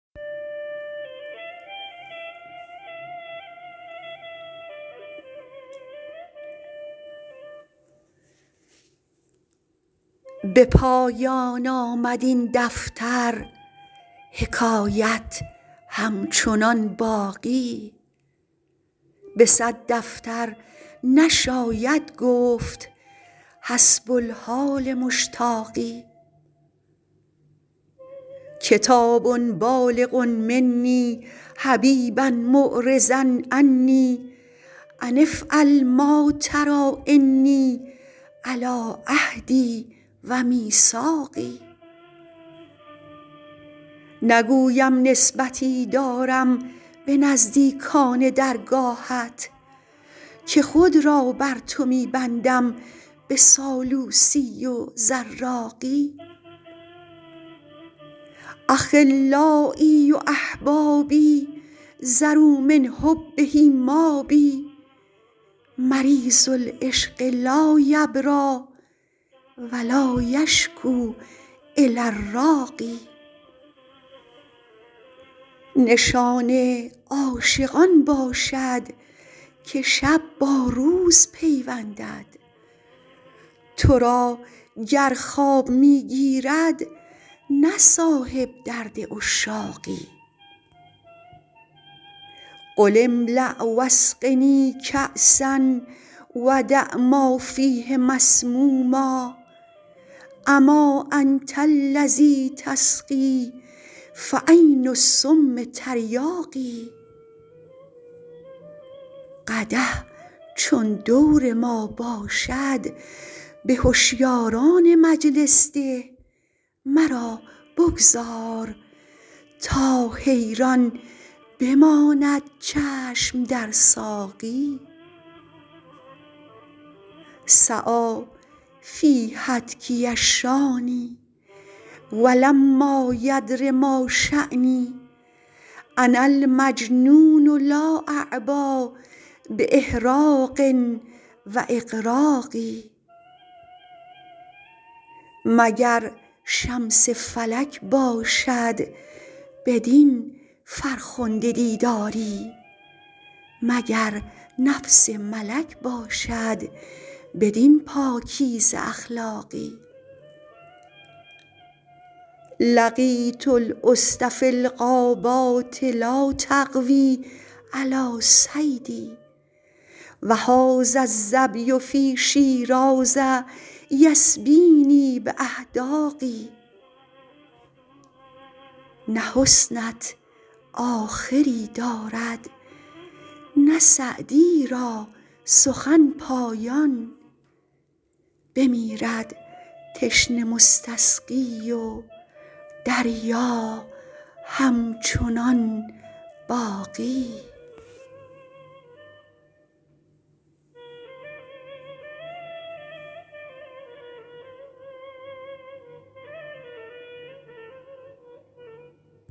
به پایان آمد این دفتر حکایت همچنان باقی به صد دفتر نشاید گفت حسب الحال مشتاقی کتاب بالغ منی حبیبا معرضا عنی أن افعل ما تری إني علی عهدی و میثاقی نگویم نسبتی دارم به نزدیکان درگاهت که خود را بر تو می بندم به سالوسی و زراقی أخلایی و أحبابی ذروا من حبه مابی مریض العشق لا یبری و لا یشکو إلی الراقی نشان عاشق آن باشد که شب با روز پیوندد تو را گر خواب می گیرد نه صاحب درد عشاقی قم املأ و اسقنی کأسا و دع ما فیه مسموما أما أنت الذی تسقی فعین السم تریاقی قدح چون دور ما باشد به هشیاران مجلس ده مرا بگذار تا حیران بماند چشم در ساقی سعی فی هتکی الشانی و لما یدر ما شانی أنا المجنون لا أعبا بإحراق و إغراق مگر شمس فلک باشد بدین فرخنده دیداری مگر نفس ملک باشد بدین پاکیزه اخلاقی لقیت الأسد فی الغابات لا تقوی علی صیدی و هذا الظبی فی شیراز یسبینی بأحداق نه حسنت آخری دارد نه سعدی را سخن پایان بمیرد تشنه مستسقی و دریا همچنان باقی